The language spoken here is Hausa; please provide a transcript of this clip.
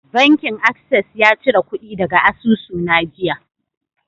Bankin Access ya cire kudi daga asusuna jiya.